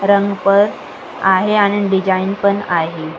रंग पण आहे आणि डिझाईन पण आहे.